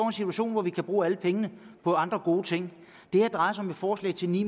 en situation hvor vi kan bruge alle pengene på andre gode ting det her drejer sig om et forslag til ni